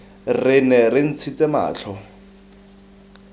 re nne re ntshitse matlho